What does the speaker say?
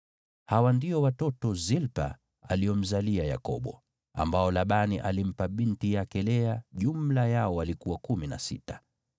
Hawa ndio watoto Zilpa aliomzalia Yakobo, ambao Labani alimpa binti yake Lea; jumla yao walikuwa kumi na sita.